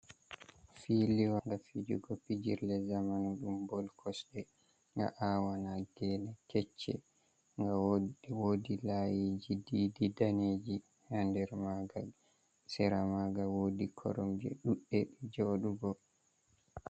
Filiwa nga fijugo pijirle zamanu ɗum bol kosɗe nga awana geene kecce, nga wod wodi layiji didi daneji haa nder manga, sera manga wodi koromje ɗuɗɗe jouɗugo.